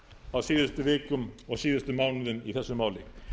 á síðustu vikum og síðustu mánuðum í þessu máli